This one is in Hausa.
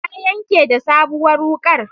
Ta yanke da sabuwar wuƙar